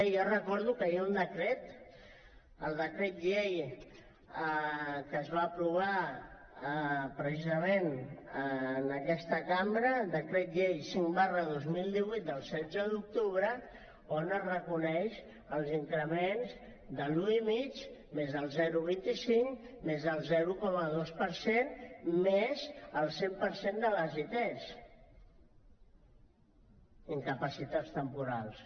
jo recordo que hi ha un decret el decret llei que es va aprovar precisament en aquesta cambra decret llei cinc dos mil divuit del setze d’octubre on es reconeixen els increments de l’un coma cinc més el zero coma vint cinc més el zero coma dos per cent més el cent per cent de les it incapacitats temporals